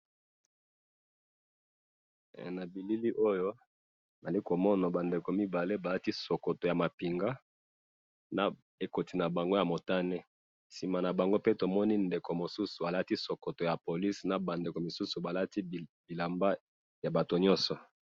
na bilili oyo na zali ko mona ba ndeko mibale ba lati sokoto ya mapinga, na ekoti na bango ya motane, sima na bango pe tomoni ndeko mosusu alati sokoto ya police na ba ndeko mosusu ba lati bilamba ya batu nyoso